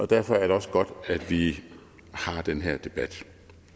derfor er det også godt at vi har den her debat